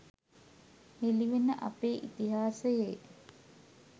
හෙළිවෙන අපේ ඉතිහාසයේ